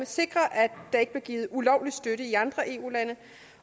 sikre at der ikke bliver givet ulovlig støtte i andre eu lande